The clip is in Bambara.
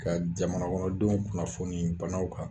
Ka jamanakɔnɔdenw kunnafoni banaw kan